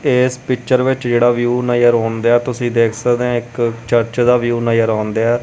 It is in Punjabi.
ਇਸ ਪਿਚਰ ਵਿੱਚ ਜਿਹੜਾ ਵਿਊ ਨਜ਼ਰ ਆਉਣ ਡੀਆ ਤੁਸੀਂ ਦੇਖ ਸਕਦੇ ਹੋ ਇੱਕ ਚਰਚ ਦਾ ਵਿਊ ਨਜਰ ਆਉਂਦੇ ਆ।